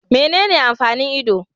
Menene amfanin Ido